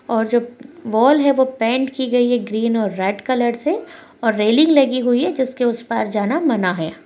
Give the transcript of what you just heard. और जो वॉल है पैंट की गई है ग्रीन और रेड कलर से और रैलिंग लगी हुई है जिसके उस पार जाना मना है।